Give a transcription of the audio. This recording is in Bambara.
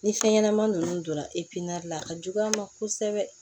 Ni fɛn ɲɛnama ninnu donna la a ka jugu a ma kosɛbɛ